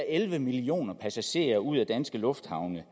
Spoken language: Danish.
elleve millioner passagerer ud af danske lufthavne